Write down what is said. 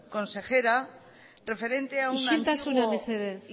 consejera isiltasuna mesedez referente a un antiguo